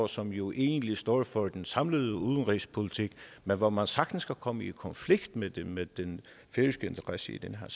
som jo egentlig står for den samlede udenrigspolitik men hvor man sagtens kan komme i konflikt med den med den færøske interesse i den her